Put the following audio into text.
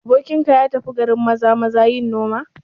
Abokinka ya tafi garin Maza-maza yin noma?